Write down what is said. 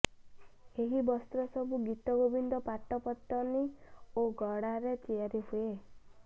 ଏହି ବସ୍ତ୍ରସବୁ ଗୀତଗୋବିନ୍ଦ ପାଟ ପତନୀ ଓ ଗଡାରେ ତିଆରି ହୁଏ